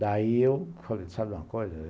Daí eu falei, sabe de uma coisa?